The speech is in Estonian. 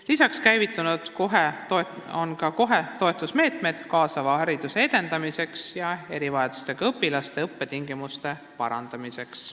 Lisaks on käivitunud toetusmeetmed kaasava hariduse edendamiseks ja erivajadustega õpilaste õppetingimuste parandamiseks.